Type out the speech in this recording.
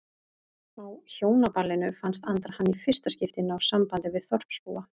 Á Hjónaballinu fannst Andra hann í fyrsta skipti ná sambandi við þorpsbúa.